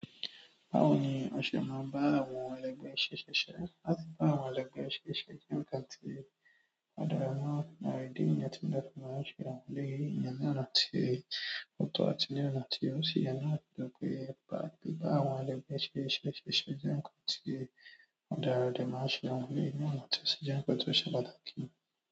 Báwo ni o ṣe máa bá àwọn ẹlẹgbẹ rẹ ṣiṣẹ? Láti ba àwọn ẹlẹgbẹ rẹ ṣiṣẹ jẹ nǹkan ti o dára náà, idi nìyẹn ti mo fi n maa ṣe àwọn eléyìí. Ìyẹn ni àná tí ó tó àti ní àná tí ó sì yẹn náà, nítorí pé biba àwọn ẹlẹgbẹ́ ṣe ṣiṣe jẹ nnká tí ó dára, a dẹ̀ máa ṣe àwọn eléyìí ni ọ̀nà tó sì jẹ́ nǹkan ti ó ṣe pàtàkì.